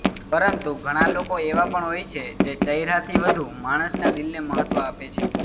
પરંતુ ઘણા લોકો એવા પણ હોય છે જે ચહેરાથી વધુ માણસના દિલને મહત્વ આપે છે